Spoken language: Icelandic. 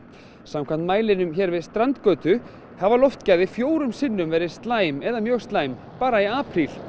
samkvæmt mælinum hér við strandgötu hafa loftgæðin fjórum sinnum verið slæm eða mjög slæm bara í apríl